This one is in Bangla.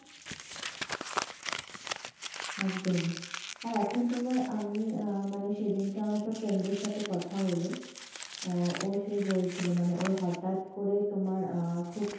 একদম এখন তোমার আঃ মানে আমি, সেদিন কে আমরা একটা friend এর সাথে কথা হলো আহ ও সে বলছিল ওর হঠাৎ করে তোমার খুব,